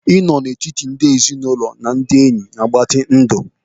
Spending ample time among family and friends prolongs life.